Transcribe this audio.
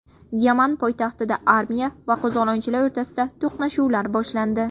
Yaman poytaxtida armiya va qo‘zg‘olonchilar o‘rtasida to‘qnashuvlar boshlandi.